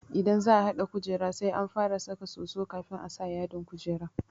Idan za'a haɗa kujera sai an fara saka soso kafin a saka yadin kujerar.